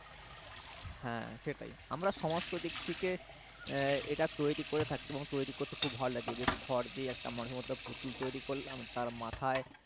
হ্যাঁ সেটাই আমরা সমস্ত দিক থেকে এটা তৈরি করে থাকি এবং তৈরি করতে খুব ভালো লাগে বেশ খড় দিয়ে একটা মানুষের মতো একটা পুতুল তৈরি করলাম তার মাথায়